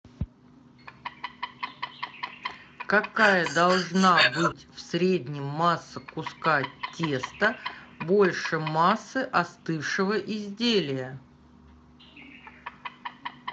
какая должна быть в среднем масса куска теста больше массы остывшего изделия